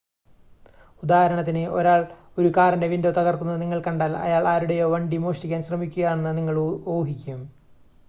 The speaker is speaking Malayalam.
ഉദാഹരണത്തിന് ഒരാൾ ഒരു കാറിൻ്റെ വിൻഡോ തകർക്കുന്നത് നിങ്ങൾ കണ്ടാൽ അയാൾ ആരുടേയോ വണ്ടി മോഷ്ടിക്കാൻ ശ്രമിക്കുകയാണെന്ന് നിങ്ങൾ ഊഹിക്കും